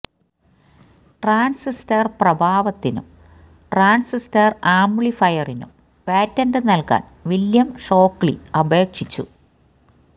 transistor പ്രഭാവത്തിനും transistor ആംപ്ലിഫയറിനും patent നൽകാൻ വില്ല്യം ഷോക്ലി അപേക്ഷിച്ചു